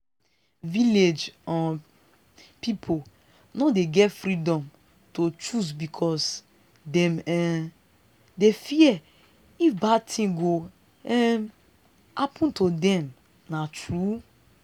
village um people no dey get freedom to choose because dem um dey fear if bad thing go um happen to them na true.